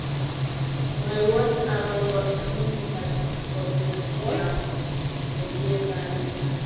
Mwawon ago po injinitap boriosiekab medieval